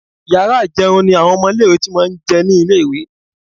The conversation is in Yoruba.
Yàrá ì̀jẹun ni àwọn ọmọ ilé-ìwé ti máa ń jẹ ní ilé-ìwé